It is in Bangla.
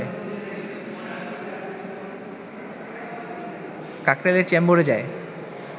কাকরাইলের চেম্বরে যায়